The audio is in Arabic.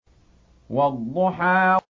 وَالضُّحَىٰ